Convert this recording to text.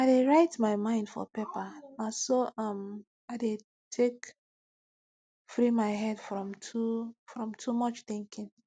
i dey write my mind for paperna so um i dey take free my head from too from too much thinking